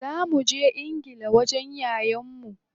Za muje ingila wajen yayan mu.